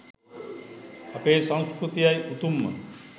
අපේ සංස්කෘතියයි උතුම්ම